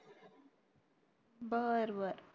बर बर